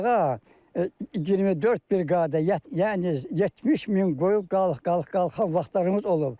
Dağa 24 briqada, yəni 70 min qoyun qalıq-qalıq-qalıq vaxtlarımız olub.